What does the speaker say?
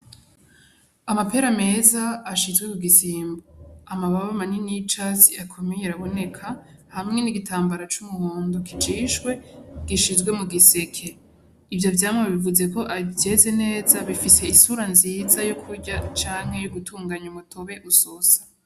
Amapera meza ashizwe ku gisimbo, amababa manini y'icatsi araboneka hamwe n'igitambara c'umuhondo kijishwe gishizwe mu giseke, ivyo vyamwa bivuze ko vyeze neza bifise isura nziza yo kurya canke yo gutunganya umutobe usosa.